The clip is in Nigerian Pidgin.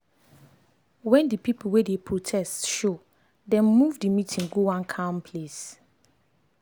when the people wey dey protest showdem move the meeting go one calm place.